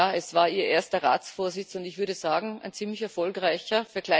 Ja, es war Ihr erster Ratsvorsitz, und ich würde sagen ein ziemlich erfolgreicher.